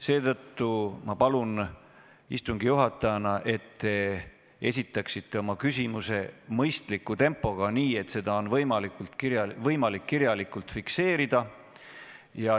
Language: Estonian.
Seetõttu ma palun istungi juhatajana, et te esitaksite oma küsimuse mõistliku tempoga, nii et seda oleks võimalik kirjalikult fikseerida.